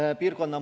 Suur tänu teile!